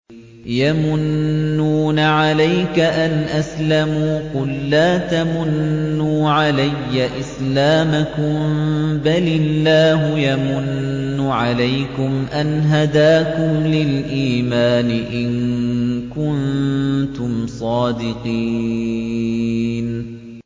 يَمُنُّونَ عَلَيْكَ أَنْ أَسْلَمُوا ۖ قُل لَّا تَمُنُّوا عَلَيَّ إِسْلَامَكُم ۖ بَلِ اللَّهُ يَمُنُّ عَلَيْكُمْ أَنْ هَدَاكُمْ لِلْإِيمَانِ إِن كُنتُمْ صَادِقِينَ